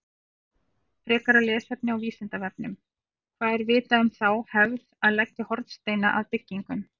Frekara lesefni á Vísindavefnum: Hvað er vitað um þá hefð að leggja hornsteina að byggingum?